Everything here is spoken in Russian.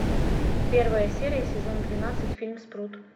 первая серия сезон двенадцать фильм спрут